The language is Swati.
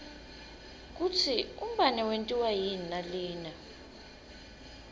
kutsi umbane wentiwa yini nalina